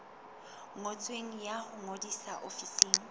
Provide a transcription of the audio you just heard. ngotsweng ya ho ngodisa ofising